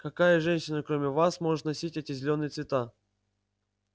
какая женщина кроме вас может носить эти зелёные цвета